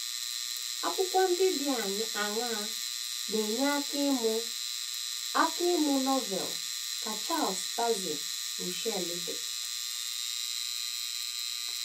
Akwụkwọ ndị dị aṅaa na - enye aka ịmụ aka ịmụ Novel ka Charles Taze Russell dere?